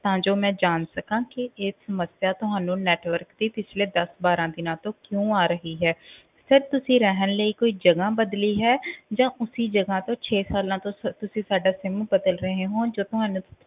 ਤਾਂ ਜੋ ਮੈਂ ਜਾਣ ਸਕਾਂ ਕਿ ਇਹ ਸਮੱਸਿਆ ਤੁਹਾਨੂੰ network ਦੀ ਪਿੱਛਲੇ ਦਸ ਬਾਰਾਂ ਦਿਨਾਂ ਤੋਂ ਕਿਉਂ ਆ ਰਹੀ ਹੈ sir ਤੁਸੀ ਰਹਿਣ ਲਈ ਕੋਈ ਜਗਾ ਬਦਲੀ ਹੈ ਜਾਂ ਉਸੀ ਜਗਾ ਤੋਂ ਛੇ ਸਾਲਾਂ ਤੋਂ ਸ~ ਤੁਸੀਂ ਸਾਡਾ sim ਬਦਲ ਰਹੇ ਹੋ ਜਾਂ ਤੁਹਾਨੂੰ